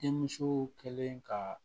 Denmusow kɛlen ka